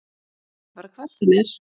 En ekki bara hvar sem er